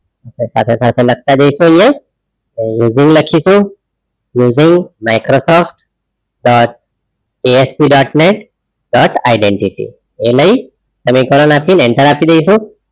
સાથે સાથે લખતા જઇસુ આઇયાહ લખીસું using Microsoft dot ASP dotnet dot identity એ લઈ અને કારણ આપી enter અપિ ડાઈસુ